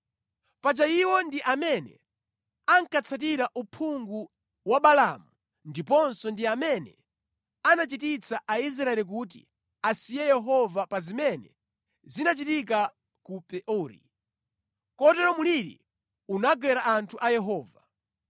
Paja iwo ndi amene ankatsatira uphungu wa Balaamu ndiponso ndi amene anachititsa Aisraeli kuti asiye Yehova pa zimene zinachitika ku Peori, kotero mliri unagwera anthu a Yehova.